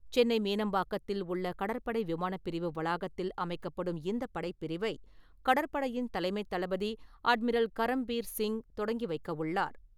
சென்னை மீனம்பாக்கத்தில் உள்ள கடற்படை விமானப் பிரிவு வளாகத்தில் அமைக்கப்படும் இந்தப் படைப்பிரிவை, கடற்படையின் தலைமைத் தளபதி அட்மிரல் கரம்பீர் சிங் தொடங்கி வைக்கவுள்ளார்.